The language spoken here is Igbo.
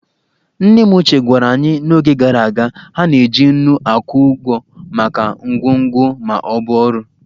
Nne m ochie gwara anyị na n'oge gara aga, ha na-eji nnu akwụ ụgwọ maka ngwongwo ma ọ bụ ọrụ